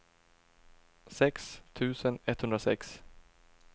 sex tusen etthundrasex